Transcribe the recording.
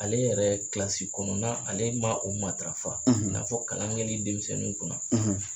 Ale yɛrɛ kɔnɔna ale ma o matarafa i n'a fɔ kalan kɛli denmisɛnninw kunna